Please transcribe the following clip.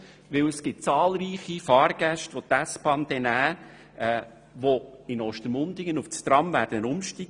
Denn es gibt zahlreiche Fahrgäste, welche die S-Bahn nutzen werden, um in Ostermundigen auf das Tram umzusteigen.